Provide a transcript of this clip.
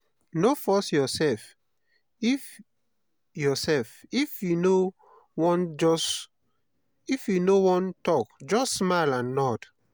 no force yoursef if yoursef if you no wan tok just smile and nod.